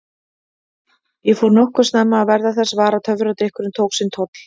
Ég fór nokkuð snemma að verða þess var að töfradrykkurinn tók sinn toll.